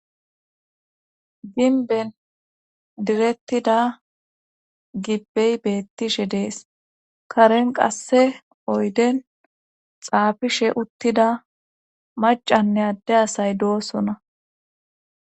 ginben direttida gibbey beettishe dees karen qasse oyden xaafishe uttida macanne adde asay doosona